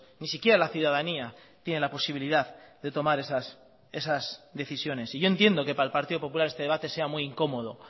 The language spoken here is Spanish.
ni siquiera la ciudadanía tiene la posibilidad de tomar esas decisiones y yo entiendo que para el partido popular este debate sea muy incómodo